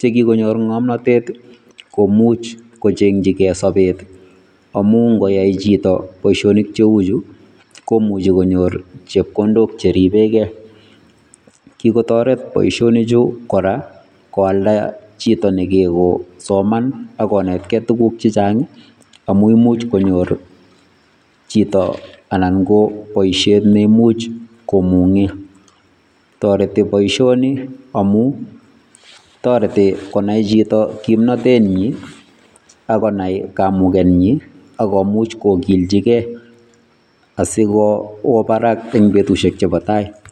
chekikonyor ngomnotet komuch kochengjigee sobet amun ngoyai chito boisionik cheuchu komuche konyor chepkondok cheripegee, kikotoret boisionichu koraa koalda chito negego soman ak konetgee tuguk chechang amun imuch konyor chito anan ko boishet neimuch komungee toreti boisioni amun toreti konai chito kimnotenyi ak konai kamugenyi ak komuch kokiljigee asikowo barak en betusiek chebo tai.